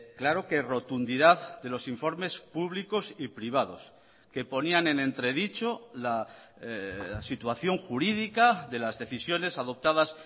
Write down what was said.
claro que rotundidad de los informes públicos y privados que ponían en entredicho la situación jurídica de las decisiones adoptadas